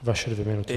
Vaše dvě minuty.